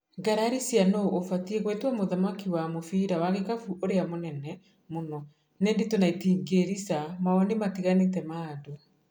ngarari cia nũ ũbatie gwĩtwo mũthaki wa mũbira wa gĩkabu ũrĩa mũnene mũno nĩ ndĩtũ na itingĩrica maoni matiganĩte ma andũ